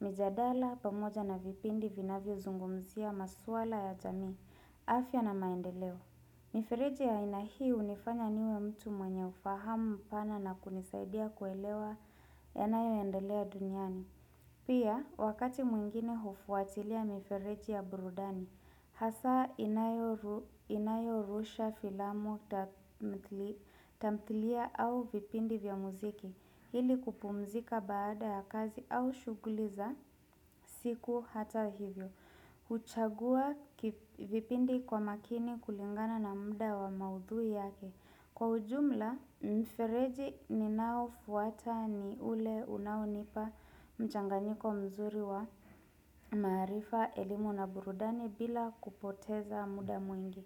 Mijadala pamoja na vipindi vinavyozungumzia maswala ya jamii, afya na maendeleo. Mifereji ya aina hii hunifanya niwe mtu mwenye ufahamu mpana na kunisaidia kuelewa yanayoendelea duniani. Pia, wakati mwingine hufuatilia mifereji ya burudani, hasa inayo ruh inayorusha filamu tamthilia au vipindi vya muziki, ili kupumzika baada ya kazi au shughuli za siku hata hivyo. Huchagua kivipindi kwa makini kulingana na muda wa maudhui yake Kwa ujumla mfereji ni nao fuata ni ule unaonipa mchanganyiko mzuri wa maarifa elimu na burudani bila kupoteza muda mwingi.